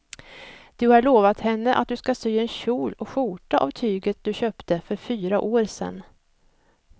Du har lovat henne att du ska sy en kjol och skjorta av tyget du köpte för fyra år sedan.